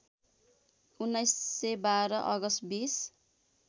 १९९२ August २०